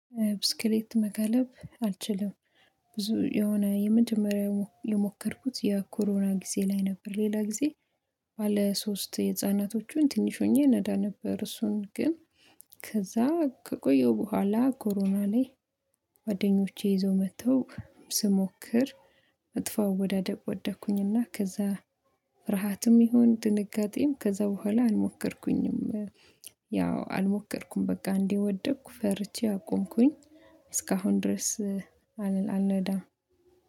ብስክሌት መጋለብ አልችልም። ብዙ የሆነ የመጀመሪያ የሞ የሞከርኩት የኮሮና ጊዜ ላይ ነበር፤ ሌላ ጊዜ ባለ ሶስት የህፃናቶቹን ትንሽ ሆኜ ነዳ ነበር፤ እሱን ግን ከቆየው በኋላ ኮሮና ላይ ጓደኞቼ ይዘው መጥተው ስሞክር መጥፎ አወዳደቅ ወደኩኝና ከዛ ፍርሃትም ይሁን ድንጋጤም ከዛ በኋላ አልሞከርኩኝም። ያው አልሞከርኩም በቃ አንዴ ወደቅኩ ፈርቼ አቆምኩኝ። እስካሁን ድረስ አል አልነዳም።